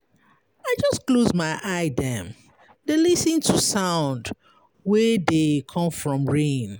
I just close my eye dem, dey lis ten to sound wey dey come from rain.